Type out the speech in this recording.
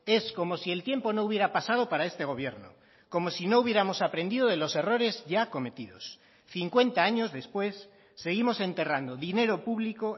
es como si el tiempo no hubiera pasado para este gobierno como si no hubiéramos aprendido de los errores ya cometidos cincuenta años después seguimos enterrando dinero público